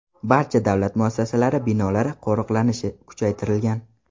Barcha davlat muassasalari binolari qo‘riqlanishi kuchaytirilgan.